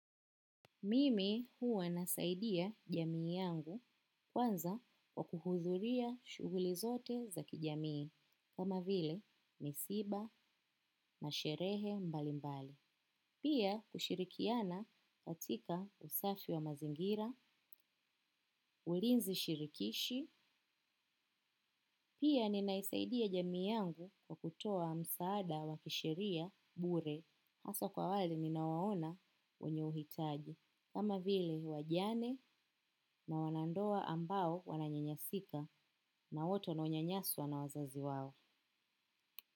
Mimi huwa nasaidia jamii yangu, kwanza kwa kuhudhuria shughuli zote za jamii kama vile msiba na sherehe mbalimbali. Pia kushirikiana katika usafi wa mazingira, ulinzi shirikishi, pia ninaisaidia jamii yangu kwa kutoa msaada wakisheria bure. Hasa kwa wale minawaona wenye uhitaji. Kama vile wajane na wanandoa ambao wananyanyasika na watu wanaounyanyaswa na wazazi wao.